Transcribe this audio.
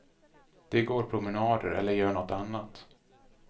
De går promenader eller gör något annat.